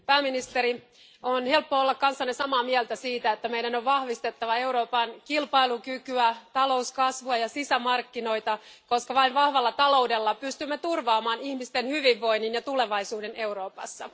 pääministeri, on helppoa olla kanssanne samaa mieltä siitä, että meidän on vahvistettava Euroopan kilpailukykyä, talouskasvua ja sisämarkkinoita, koska vain vahvalla taloudella pystymme turvaamaan ihmisten hyvinvoinnin ja tulevaisuuden Euroopassa.